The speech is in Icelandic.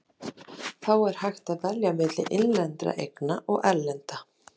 Hvít tígrisdýr eru mjög sjaldgæf og lifa núorðið nær eingöngu í dýragörðum víða um heim.